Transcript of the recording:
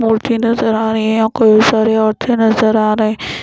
मूर्ति नज़र आ रही हैं औ कोई सारी औरती नज़र आ रही --